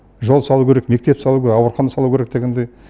жол салу керек мектеп салу керек аурухана салу керек дегендей